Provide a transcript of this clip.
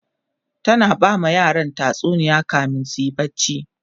tana bama yaran tatsuniya kamin suyi barci